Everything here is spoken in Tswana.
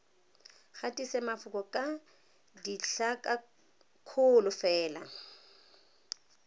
gatise mafoko ka ditlhakakgolo fela